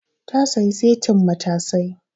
Ta sayi setin matazai